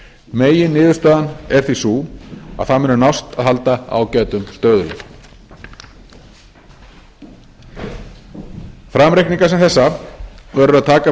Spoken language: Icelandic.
meginniðurstaðan er því sú að það muni nást að halda ágætum stöðugleika framreikninga sem þessa verður að taka með